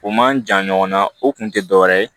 O man jan ɲɔgɔnna o kun tɛ dɔwɛrɛ ye